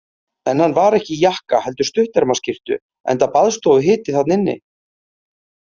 En hann var ekki í jakka heldur stuttermaskyrtu enda baðstofuhiti þarna inni.